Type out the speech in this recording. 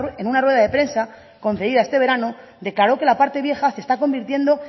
en una rueda de prensa concedida este verano declaró que la parte vieja se está convirtiendo